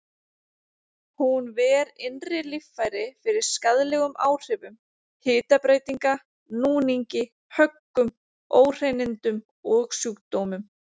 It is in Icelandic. Hún ver innri líffæri fyrir skaðlegum áhrifum hitabreytinga, núningi, höggum, óhreinindum og sjúkdómum.